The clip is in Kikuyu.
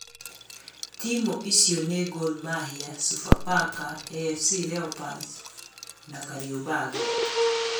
Timũ icio ni Gor mahia, Sofapaka, Afc leopards na kariobangi